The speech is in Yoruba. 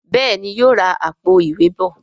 Béèni yóò rá Àpò-ìwé bọ